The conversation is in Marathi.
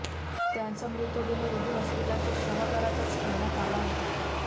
त्यांचा मृतदेह रुबी हॉस्पिटलच्या शवागारातच ठेवण्यात आला होता